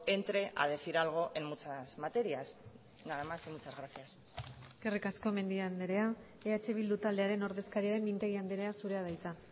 entre a decir algo en muchas materias nada más y muchas gracias eskerrik asko mendia andrea eh bildu taldearen ordezkaria den mintegi andrea zurea da hitza